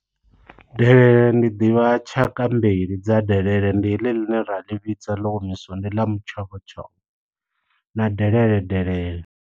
Delele ndi ḓivha tshaka mbili dza delele. Ndi heḽi ḽine ra ḽi vhidza ḽo omisiwa, ndi ḽa mutshovhotshovho na delele delele.